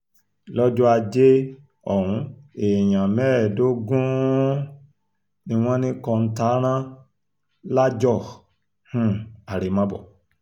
lọ́jọ́ ajé ohun èèyàn mẹ́ẹ̀ẹ́dógún um ni wọ́n ní kọ́ńtà rán lájọ um àrèmábọ̀